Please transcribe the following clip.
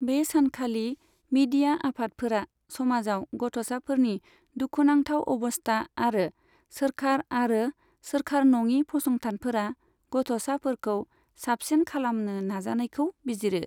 बे सानखालि मिडिया आफादफोरा समाजाव गथ'साफोरनि दुखुनांथाव अबस्था आरो सोरखार आरो सोरखार नङि फसंथानफोरा गथ'साफोरखौ साबसिन खालामनो नाजानायखौ बिजिरो।